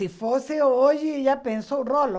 Se fosse hoje, já pensou o rolo.